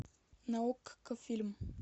на окко фильм